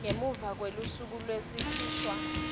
ngemuva kwelusuku lwekukhishwa